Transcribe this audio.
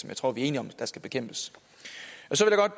jeg tror vi er enige om skal bekæmpes så